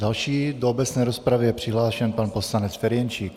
Další do obecné rozpravy je přihlášen pan poslanec Ferjenčík.